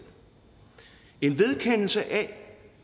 en vedkendelse af